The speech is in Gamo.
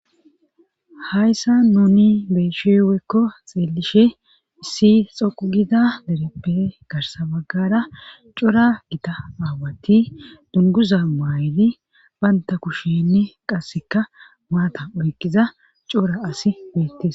Hayssa nuni beesheweekko xeellishe issi xoqugida dereppe garsabaggara cura gita aawati dunguza maayli baynta kushenne qasseka maata oyqiza cora asi beettes.